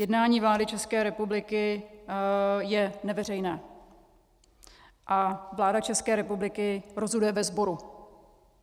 Jednání vlády České republiky je neveřejné a vláda České republiky rozhoduje ve sboru.